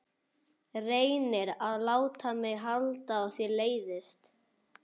Reynir að láta mig halda að þér leiðist.